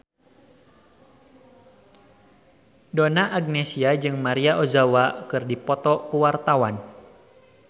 Donna Agnesia jeung Maria Ozawa keur dipoto ku wartawan